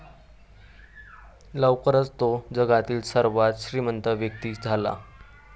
लवकरच तो जगातील सर्वात श्रीमंत व्यक्ती झाला.